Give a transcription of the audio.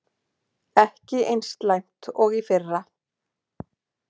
Ekki eins slæmt og í fyrra